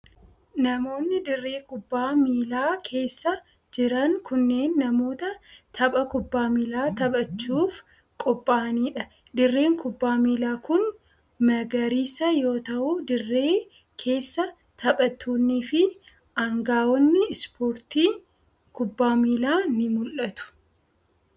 Namoonni dirree kubbaa miilaa keessa jiran kunneen, namoota tapha kubbaa miilaa taphachuuf qopha'anii dha. Dirreen kubbaa miilaa kun magariisa yoo ta'u, dirree keessa taphattoonni fi aangawoonni ispoortii kubbaa miilaa ni mul'atu.